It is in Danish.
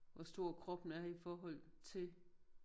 Hvor stor kroppen er i forhold til